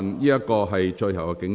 這是最後警告。